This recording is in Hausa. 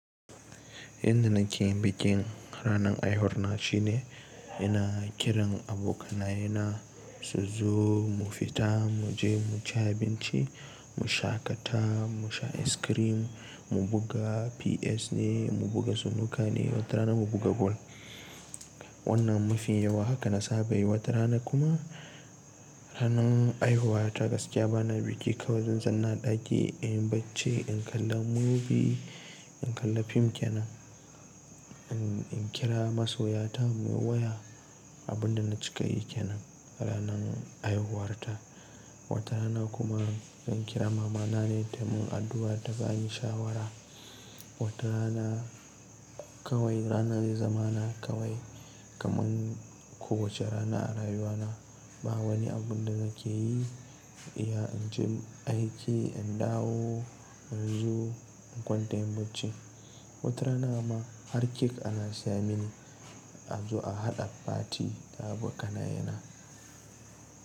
Inda nake yin bikin ranar haihuwa shine ina kiran abokanaye na su zo mu fita, mu je mu ci abinci, mu shaƙata, mu sha es kirim, mu buga PS ne, mu buga snuka ne, wata rana mu buga bol. Wannan mafi yawa haka na saba yi. Wata rana kuma ranar haihuwarta gaskiya bana biki kawai zan zauna ɗaki in bacce, in kalla movie, in kalla fim kenan, in kira masoya ta mu yi waya. Abun da na cika yi kenan ranar haihuwarta. Wata rana kuma zan kira mama na ne da mu yi addu'a da ba yi shawara. Wata rana kawai rana zai zama na kawai kamar kowace rana a rayuwa na. Ba wani abun da nake yi, iya in je aiki, in dawo, in zo in kwanta in bacci. Wata rana ma har kek ana siya mini a zo a haɗa party da abokanaye na.